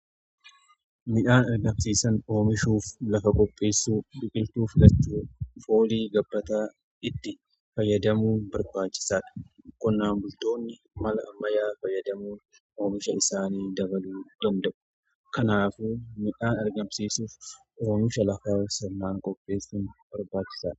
midhaan ergamsiisan oomishuuf lafa qopheessu biqiltuuf filachuu foolii gabbataa itti fayyadamuun barbaachisaa dha. qonnaan bultoonni mala ammayyaa fayyadamuu oomisha isaanii dabaluu danda'u. kanaafuu midhaan argamsiisuuf oomisha lafa sirnaan qopheessun barbaachisaadha.